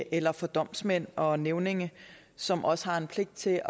eller for domsmænd og nævninge som også har en pligt til